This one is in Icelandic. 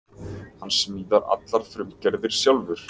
Hann smíðar allar frumgerðir sjálfur